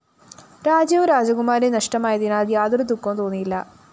രാജ്യവും രാജകുമാരിയും നഷ്ടമായതിനാല്‍ യാതൊരു ദുഃഖവും തോന്നിയില്ല